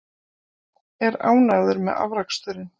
Er ánægður með afraksturinn?